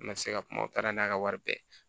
N ma se ka kuma u taara n'a ka wari bɛɛ ye